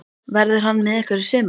Verður hann með ykkur í sumar?